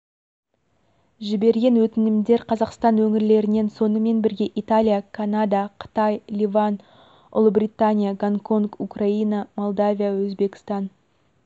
жіберген өтінімдер қазақстан өңірлерінен сонымен бірге италия канада қытай ливан ұлыбритания гонконг украина молдавия өзбекстан